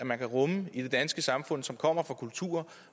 man kan rumme i det danske samfund mennesker som kommer fra kulturer